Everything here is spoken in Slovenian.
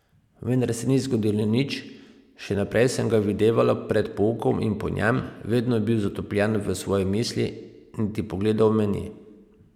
Vendar se ni zgodilo nič, še naprej sem ga videvala pred poukom in po njem, vedno je bil zatopljen v svoje misli, niti pogledal me ni.